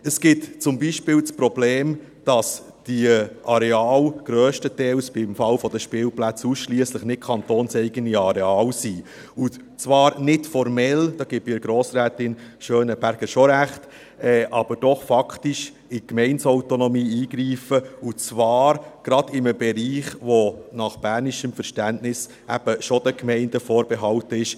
Es gibt zum Beispiel das Problem, dass diese Areale grösstenteils – im Fall der Spielplätze ausschliesslich – nicht kantonseigene Areale sind, und man würde zwar nicht formell – diesbezüglich gebe ich Grossrätin Gabi Schönenberger schon recht –, aber doch faktisch in die Gemeindeautonomie eingreifen, und zwar gerade in einem Bereich, der nach bernischem Verständnis eben schon den Gemeinden vorbehalten ist.